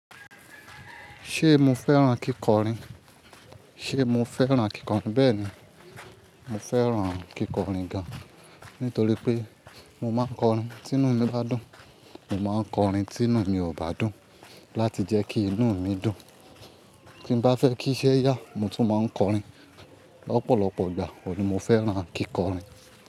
Ṣé mo fẹ́ràn kíkọrin? Ṣé mo fẹ́ràn kíkọrin? Bẹ́ẹ̀ ni, mo fẹ́ràn kíkọrin gan-an. Nítorí pé mo máa ń kọrin tí inú mi bá dùn. Mo máa ń kọrin tí inú mi ò bá dùn láti jẹ́ kí inú mi dùn. Tí bá fẹ́ kí iṣẹ́ yá, mo tún máa ń kọrin lọ́pọ̀lọpọ̀ ìgbà. Ó ni mo fẹ́ràn kíkọrin.